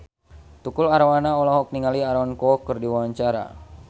Tukul Arwana olohok ningali Aaron Kwok keur diwawancara